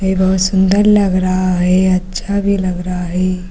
ये बहुत सुंदर लग रहा है। अच्छा भी लग रहा है।